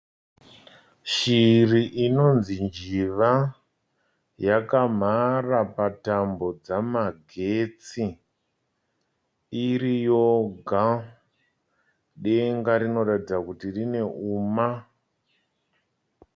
Shiri inonzi njiva. Yakamhara patambo dzamagetsi iri yoga . Denga rinoratidza kuti rine uma.